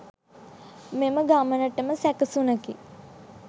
මෙම ගමනටම සැකසුනකි.